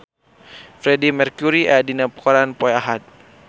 Freedie Mercury aya dina koran poe Ahad